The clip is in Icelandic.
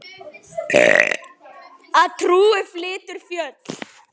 Að trúin flytur fjöll.